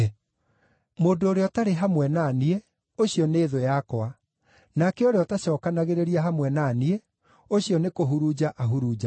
“Mũndũ ũrĩa ũtarĩ hamwe na niĩ, ũcio nĩ thũ yakwa, nake ũrĩa ũtacookanagĩrĩria hamwe na niĩ, ũcio nĩkũhurunja ahurunjaga.